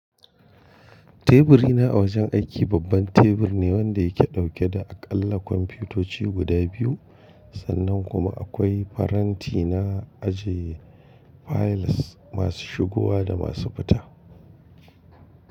Teburina a wajen aiki babban tebur ne wanda yake dauke da aƙalla kwamfutoci guda biyu, sannan kuma akwai faranti na ajiye fayils masu shigowa da masu fita.